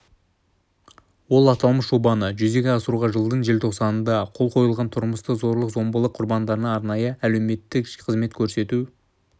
ол аталмыш жобаны жүзеге асыруға жылдың желтоқсанында қол қойылған тұрмыстық зорлық-зомбылық құрбандарына арнайы әлеуметтік қызмет көрсету